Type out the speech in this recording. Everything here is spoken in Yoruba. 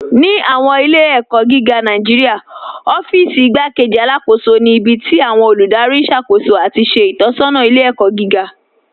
Ní awọn ilẹ̀-ẹ̀kọ giga Nàìjíríà, ọ̀fíìsí Ìgbàkéjì Alákóṣọ ni ibi tí awọn olúdárí n ṣákóṣó ati ṣe itọsọna ilẹ̀-ẹ̀kọ giga.